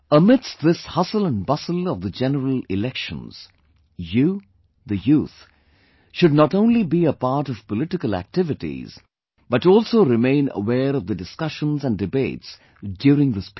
Amidst this hustle and bustle of the general elections, you, the youth, should not only be a part of political activities but also remain aware of the discussions and debates during this period